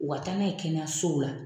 O ka taa n'a ye kɛnɛyasow la.